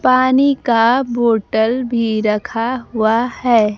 पानी का बोतल भी रखा हुआ है।